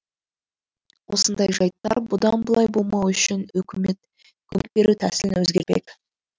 осындай жайттар бұдан былай болмауы үшін үкімет көмек беру тәсілін өзгертпек